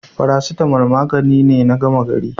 Faracetamal magani ne na gama gari.